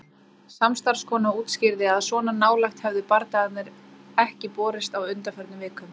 Samstarfskona útskýrði að svona nálægt hefðu bardagarnir ekki borist á undanförnum vikum.